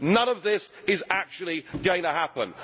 None of this is actually going to happen.